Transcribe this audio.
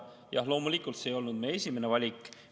Jah, loomulikult see ei olnud meie esimene valik.